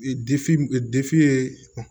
ye